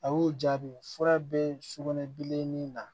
A y'o jaabi fura be sugunɛbilennin na